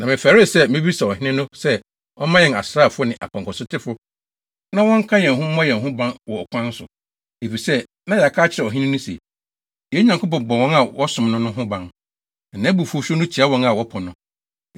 Na mefɛree sɛ mebisa ɔhene no sɛ ɔmma yɛn asraafo ne apɔnkɔsotefo na wɔnka yɛn ho mmɔ yɛn ho ban wɔ ɔkwan so, efisɛ na yɛaka akyerɛ ɔhene no se, “Yɛn Nyankopɔn bɔ wɔn a wɔsom no no ho ban, na nʼabufuwhyew no tia wɔn a wɔpo no.”